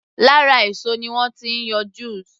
Lára èso ni wọ́n ti ń yọ juice